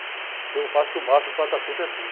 Então eu faço o máximo para estar sempre assim.